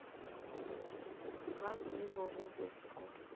ga tsebo go be go